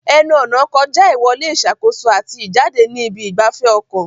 Ẹnu-ọ̀nà kọjá ìwọlé ìṣàkóso àti jáde ní ibi ìgbafẹ́ ọkọ̀.